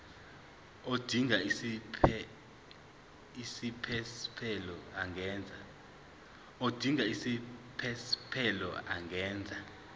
odinga isiphesphelo angenza